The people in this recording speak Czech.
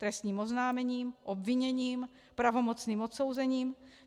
Trestním oznámením, obviněním, pravomocným odsouzením?